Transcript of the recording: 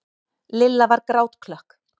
Lilla var grátklökk.